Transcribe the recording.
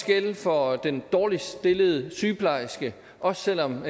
gælde for den dårligst stillede sygeplejerske også selv om